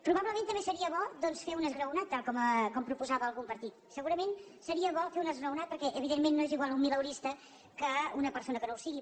probablement també seria bo doncs fer un esglaonat tal com proposava algun partit segurament seria bo fer un esglaonat perquè evidentment no és igual un mileurista que una persona que no ho sigui